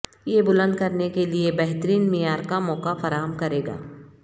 یہ بلند کرنے کے لئے بہترین معیار کا موقع فراہم کرے گا